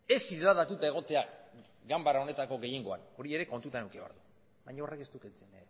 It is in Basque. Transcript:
ez isladatuta egotea ganbara honetako gehiengoan hori ere kontutan eduki behar du baina horrek ez du kentzen